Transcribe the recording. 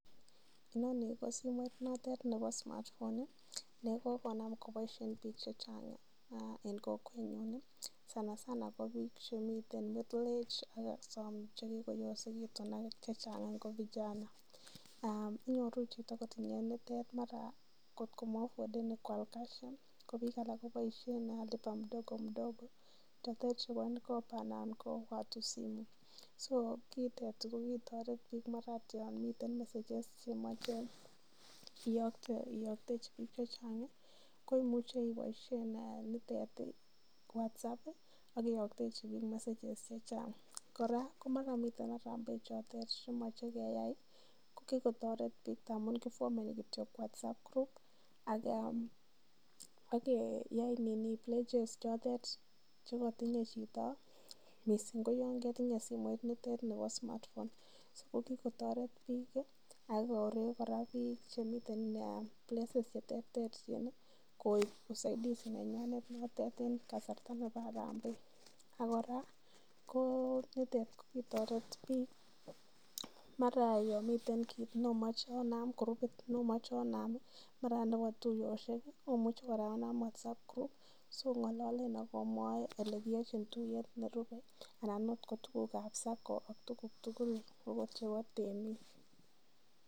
INoni ko simoit notet nebo smartphone ne kogonam koboishen bik chechang en kokwenyun, sanasana ko biik chemiten middle age, ak che kigoyosegitun ak chechang ko vijana inyoru chito kotinye nitet mara kotko maimuch koal cash ko biik alak koboisien lipa mdogo mdogo chotet chebo M-Kopa anan ko Watu Simu. Ko kitet ko kitoret biik, mara agot yon miten message nemoche iyoktechi biik chechang koimuche iboisien nitet en WhatsApp ak iyoktechi biik messages chechang, kora komara miten harambee chemoche keyai kokigotoret amun kifomeni kityok WhatsApp group ak kiyai pledges chotet che kotinye chito mising ko yonketinye simoit notet nebo smartphone so ko kigotoret biik ak korek kora biik chemiten places che terterchin koib usaidizi nenywanet en kasarta nebo harambee. Ak kora nitet ko kitoret biik, mara yon miten kit ne omoche onam kurupit nomoche onam mara ot nebo tuiyosiek omuche kora onam WhatsApp group siong'ololen ak omwae ole kiyochin tuiyet nerupe anan ot ko tuguk ab SACCO ak tuguk tugul agot chebo temik.